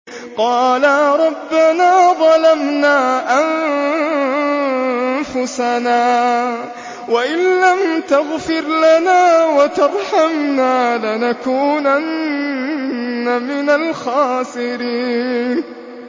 قَالَا رَبَّنَا ظَلَمْنَا أَنفُسَنَا وَإِن لَّمْ تَغْفِرْ لَنَا وَتَرْحَمْنَا لَنَكُونَنَّ مِنَ الْخَاسِرِينَ